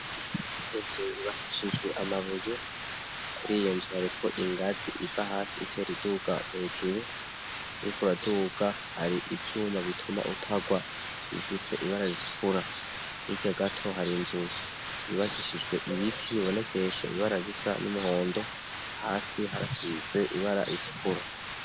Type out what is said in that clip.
Inzu yubakishijwe amabuye, kuri iyo nzu hariko ingazi iva hasi itera iduga hejuru, uriko uraduga hari ivyuma bituma utagwa bifise ibara ritukura, hirya gato hari inzu yubakishijwe ibiti bibonekesho ibara risa n'umuhondo, hasi harasize ibara ritukura.